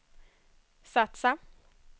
satsa